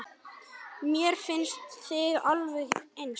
Mér fannst þið alveg eins.